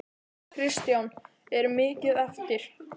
Kristján: Er mikið eftir?